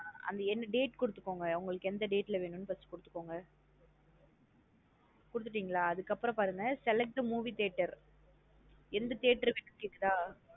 அங்க date குடுத்துகோங்க. உங்களுக்கு எந்த date ல வேணுனு first குடுத்துகோங்க குடுத்துடீங்கள. அதுக்கபுறம் பாருங்க select the movie theatre எந்த theatre வேணுன்னு கேக்குதா.